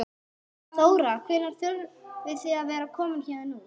Þóra: Hvenær þurfið þið að vera komin héðan út?